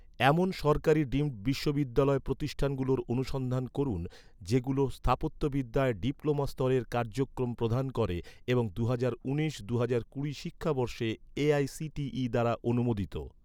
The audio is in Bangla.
এমন সরকারি ডিমড বিশ্ববিদ্যালয় প্রতিষ্ঠানগুলোর অনুসন্ধান করুন, যেগুলো স্থাপত্যবিদ্যায় ডিপ্লোমা স্তরের কার্যক্রম প্রদান করে এবং দুহাজার উনিশ দুহাজার কুড়ি শিক্ষাবর্ষে এ.আই.সি.টি.ই দ্বারা অনুমোদিত